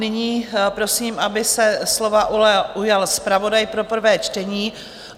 Nyní prosím, aby se slova ujal zpravodaj pro prvé čtení.